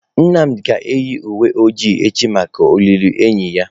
Nnamdi ga-eyi uwe ojii echi maka olili enyi ya.